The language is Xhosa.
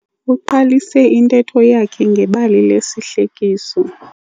Uqalise intetho yakhe ngebali lesihlekiso.